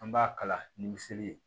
An b'a kala ni miseli ye